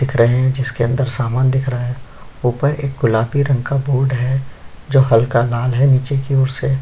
दिख रहै है जिसके अंदर सामन दिख रहा है ऊपर एक ग़ुलाबी रंग का बोर्ड है जो हल्का लाल है निचे की ओर से --